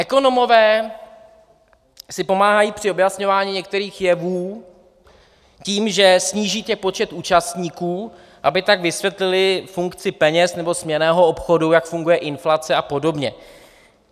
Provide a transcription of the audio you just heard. Ekonomové si pomáhají při objasňování některých jevů tím, že sníží ten počet účastníků, aby tak vysvětlili funkci peněz nebo směnného obchodu, jak funguje inflace a podobně.